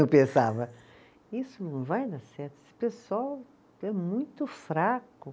Eu pensava, isso não vai dar certo, esse pessoal é muito fraco.